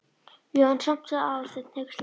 Já, en samt sagði Aðalsteinn hneykslaður.